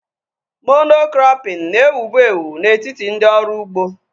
Mono-krọpin na-ewubu ewu na-etiti ndị ọrụ ugbo